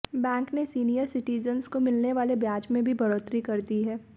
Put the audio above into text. bank ने senior citizens को मिलने वाले ब्याज में भी बढ़ोतरी कर दी है